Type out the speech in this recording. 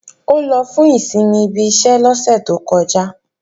Ó lọ fún ìsinmi ibi iṣẹ́ lọ́sẹ̀ tó kọjá